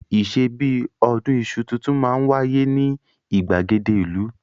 Ìṣe bí i ọdún iṣu tuntun máa ń wáyé ní ìgbàgede ìlú.